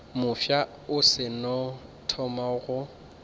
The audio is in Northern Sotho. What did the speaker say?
mofsa o seno thoma go